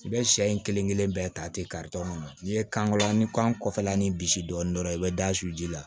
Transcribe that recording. I bɛ sɛ in kelen-kelen bɛɛ ta ten ka tɔn kɔnɔ n'i ye kan kɔnɔn ni kan kɔfɛla ni bisi dɔɔnin dɔrɔn i bɛ da su ji la